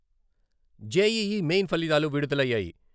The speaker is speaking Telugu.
జేఈఈ మెయిన్ ఫలితాలు విడుదలయ్యాయి.